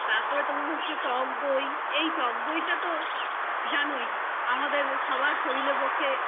তারপরে তোমার হচ্ছে টকদই এই টকদই তা তো জানোই আমাদের সবার শরীরের পক্ষ